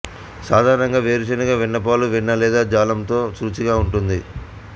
సాధారణంగా వేరుశెనగ వెన్న పాలు వెన్న లేదా జాంలతో రుచిగా ఉంటుంది